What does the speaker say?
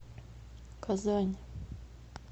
казань